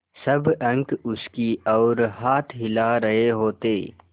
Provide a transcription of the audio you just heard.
सब अंक उसकी ओर हाथ हिला रहे होते